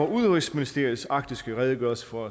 udenrigsministeriets arktiske redegørelse for